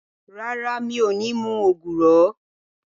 Rárá, mi ò ní mu ògùrọ̀